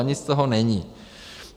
A nic z toho není.